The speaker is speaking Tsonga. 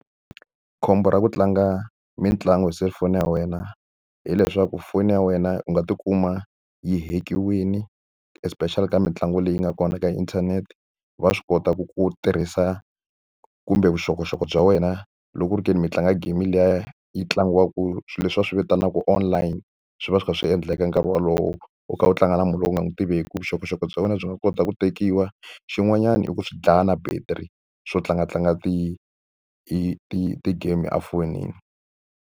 Khombo ra ku tlanga mitlangu hi selufoni ya wena hileswaku foni ya wena u nga tikuma yi heck-iwile, especially ka mitlangu leyi nga kona ka inthanete. Va swi kota ku ku tirhisa kumbe vuxokoxoko bya wena loko ku ri ke ni mi tlanga game liya yi tlangiwaka swilo leswi va swi vitanaka online. Swi va swi kha swi endleka nkarhi wolowo u kha u tlanga na munhu loyi u nga n'wi tiveki, vuxokoxoko bya wena byi nga kota ku tekiwa. Xin'wanyana i ku swi dlaya na battery swo tlangatlanga ti-game efonini.